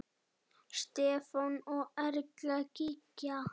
Stefán og Erla Gígja.